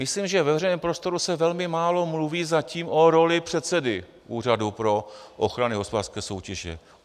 Myslím, že ve veřejném prostoru se velmi málo mluví zatím o roli předsedy Úřadu pro ochranu hospodářské soutěže.